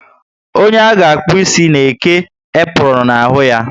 Onye a ga akpu ịsị ga eke apronu na ahụ ya